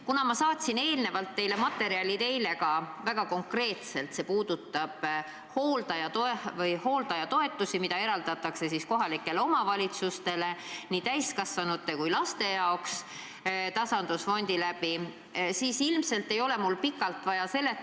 Kuna ma saatsin teile eile väga konkreetsed materjalid, mis puudutavad hooldajatoetusi, mis eraldatakse kohalikele omavalitsustele nii täiskasvanute kui laste jaoks tasandusfondi kaudu, siis ilmselt ei ole mul pikalt vaja seletada.